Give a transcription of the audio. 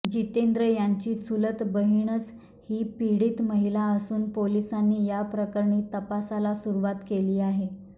जितेंद्र यांची चुलत बहिणच ही पीडित महिला असून पोलिसांनी या प्रकरणी तपासाला सुरुवात केली आहे